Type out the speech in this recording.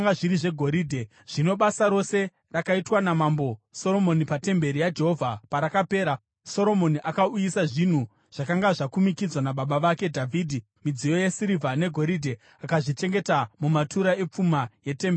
Zvino basa rose rakaitwa naMambo Soromoni patemberi yaJehovha parakapera, Soromoni akauyisa zvinhu zvakanga zvakumikidzwa nababa vake Dhavhidhi, midziyo yesirivha negoridhe, akazvichengeta mumatura epfuma yetemberi yaJehovha.